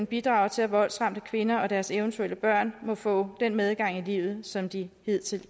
bidrager til at voldsramte kvinder og deres eventuelle børn må få den medgang i livet som de hidtil